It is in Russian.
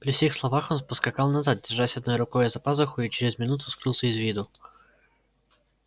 при сих словах он поскакал назад держась одной рукою за пазуху и через минуту скрылся из виду